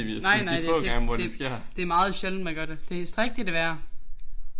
Nej nej nej det det det meget sjældent man gør det. Strik det det værre